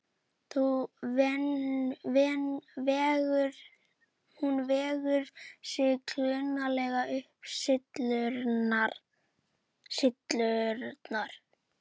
Hún vegur sig klunnalega upp syllurnar.